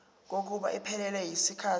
kokuba iphelele yisikhathi